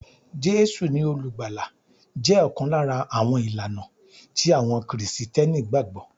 Jésù ni olùgbàlà jẹ́ ọ̀kan lára àwọn ìlànà tí àwọn Kristẹni gbàgbọ́